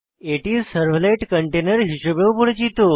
এটি সার্ভলেট কন্টেইনের হিসাবেও পরিচিত